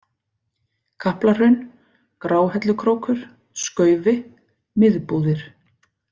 Kaplahraun, Gráhellukrókur, Skaufi, Miðbúðir